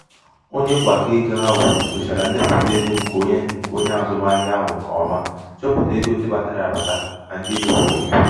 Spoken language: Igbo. onye mgbakọego ahụ nyochara ndepụta ego nke onye azụmahịa ahụ nke ọma chọpụta ego ndị batara abata na ndị e mefuru emefu.